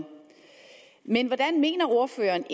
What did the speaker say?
men hvordan mener ordføreren